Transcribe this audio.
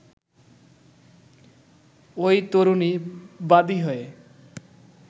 ওই তরুণী বাদি হয়ে